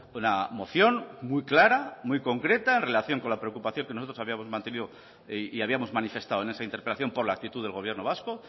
una moción muy clara muy concreta en relación con la preocupación que nosotros habíamos mantenido y habíamos manifestado en esa interpelación por la actitud del gobierno vasco